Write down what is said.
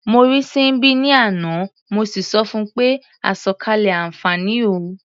Mo rí Síḿbì ní àná, mo sì sọ fun pé "àsọ̀kalẹ̀ àǹfààní o".